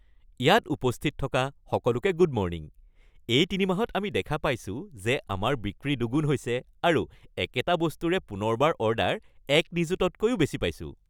ইয়াত উপস্থিত থকা সকলোকে গুড মৰ্ণিং। এই তিনিমাহত আমি দেখা পাইছোঁ যে আমাৰ বিক্ৰী দুগুণ হৈছে আৰু একেটা বস্তুৰে পুনৰবাৰ অৰ্ডাৰ ১ নিযুতকৈও বেছি পাইছোঁ।